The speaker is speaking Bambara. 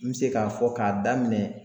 N be se ka fɔ ka daminɛ